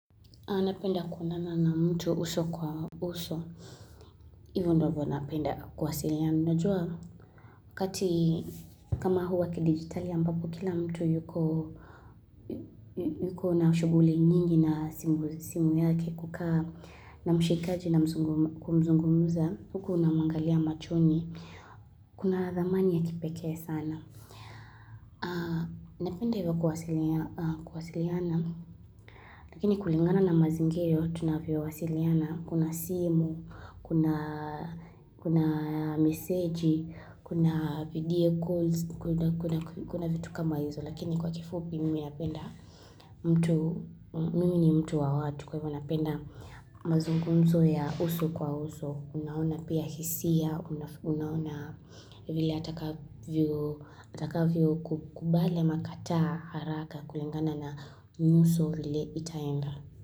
Napenda kuonana na mtu uso kwa uso. Hivyo ndivyo napenda kuwasiliana. Najua kati, kama huwa kidigitali ambapo kila mtu yuko na shughuli nyingi na simu yake kukaa na mshikaji na kumzungumuza. Huku unamwangalia machoni. Kuna dhamani ya kipekee sana. Napenda hivyo kuwasiliana. Lakini kulingana na mazingiro tunavyowasiliana, kuna simu, kuna, kuna meseji, kuna video calls, kuna vitu kama hizo. Lakini kwa kifupi mimi napenda mtu, mimi ni mtu wa watu, kwa hivyo napenda mazungunzo ya uso kwa uso, Unaona pia hisia, unaona vile atakavyo atakavyo kubali ama kataa haraka kulingana na nyuso vile itaenda.